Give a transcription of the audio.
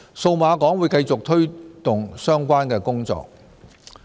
數碼港會繼續推動相關的工作。